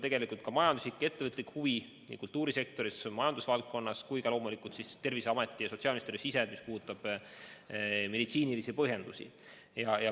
Selle taga on ka majanduslik huvi nii kultuurisektoris kui ka majandusvaldkonnas, samuti loomulikult Terviseametis ja sotsiaalministri valdkonnas, kus on olulised meditsiinilised põhjendused.